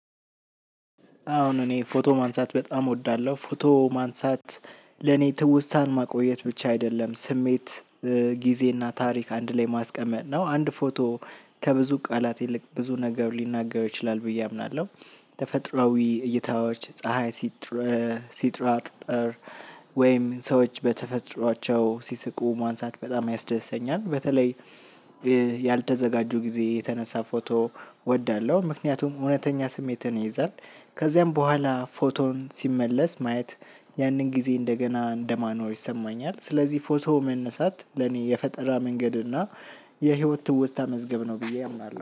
አሁን እኔ ፎቶ ማንሳት በጣም እወዳለሁ። ፎቶ ማንሳት ለኔ ትውስታን ማቆየት ብቻ አይደለም፤ ስሜት ጊዜና ተርኪ አንድ ላይ መስቀመጥ ነው አንድ ፎቶ ከብዙ ቃለት ይልቅ ብዙ ነገር ሊነገር ይችላል ብዬ አምናለሁ። ተፈጥሯዊ እይተዎች፣ ፀሀይ ስትራቅ ወይም ሰዎች በተፈጥሮቸው ስሲቁ ማንሳት በጣም ያስደስተኛል። ያልተዘጋጁ ጊዜ የተነሳ ፎቶ እወዳለ፥ ምክንያቱም እውነተኛ ስሜትን ይይዛል። ከዚያም በኋላ ፎቶን ሲመለስ ማየት ያንን ጊዜ እንደገና እንደማነው ይሰማኛል። ስለዚህ ፎቶ መነሳት ለኔ የፈጠራ መንገድ እና የህይወት ትውስታ መዝገብ ነው ብዬ አምናለ።